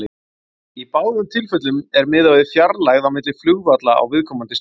Í báðum tilfellum er miðað við fjarlægð á milli flugvalla á viðkomandi stöðum.